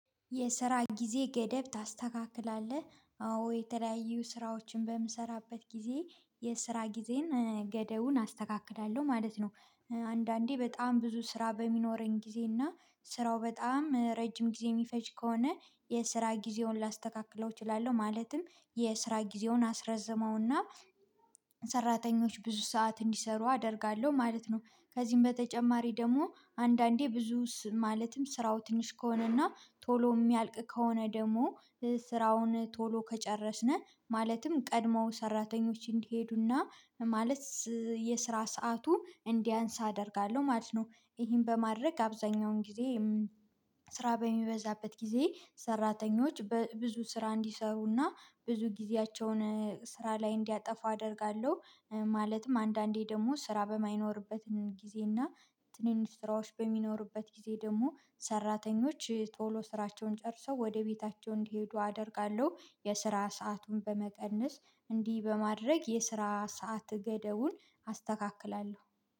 የስራ ጊዜ ገደብ ታስተካክላለህ አዎ የተለያዩ ስራዎችን በምሰራበት ጊዜ የስራ ጊዜን ገደቡን አስተካክላለው ማለት ነው። አንዳንዴ በጣም ብዙ ስራ በሚኖረኝ ጊዜ እና ስራው በጣም ረጅም ጊዜ የሚፈጅ ከሆነ የስራ ጊዜውን ላስተካክለው እችላለው ማለትም የስራ ጊዜውን አስረዝመውና ሰራተኞች ብዙ ሰዓት እንዲሰሩ አደርጋለው ማለት ነው። ከዚም በተጨማሪ ደሞ አንዳንዴ ብዙ ስም ማለትም ስራው ትንሽ ከሆነና ቶሎ ሚያልቅ ከሆነ ደሞ ስራውን ቶሎ ከጨረስን ማለትም ቀድሞ ሰራተኞች እንዲሄዱና ማለት የስራ ሰዓቱ እንዲያንስ አደርጋለው ማለት ነው። ይሄን በማድረግ አብዛኛውን ጊዜ ስራ በሚበዛበት ጊዜ ሰራተኞች ብዙ ስራ እንዲሰሩና ብዙ ጊዜያቸውን ስራ ላይ እንዲያጠፋ አደርጋለው። ማለትም አንዳንዴ ደሞ ስራ በማይኖርበትን ጊዜ እና ትንንሽ ስራዎች በሚኖርበት ጊዜ ደሞ ሰራተኞች ቶሎ ስራቸውን ጨርሰው ወደ ቤታቸው እንዲሄዱ አደርጋለው የስራ ሰአቱን በመቀነስ እንዲ በማድረግ የስራ ሰዓት ገደቡን አስተካክላለው